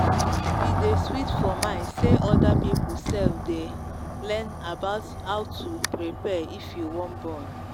e day sweet for mind say other people sef day learn about how to prepare if you wan born.